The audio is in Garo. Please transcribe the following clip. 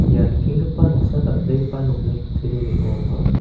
ia nikenggipa noksa dal·begipa nokni kutturi ning·o ong·a.